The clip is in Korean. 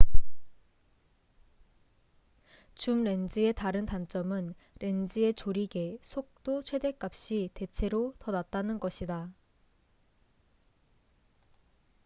줌렌즈의 다른 단점은 렌즈의 조리개속도 최댓값이 대체로 더 낮다는 것이다